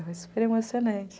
Foi super emocionante.